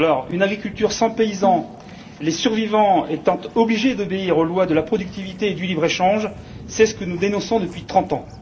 Une agriculture sans paysan, les survivants étant obligés d'obéir aux lois de la productivité du libre échange, c'est ce que nous dénonçons depuis 30 ans.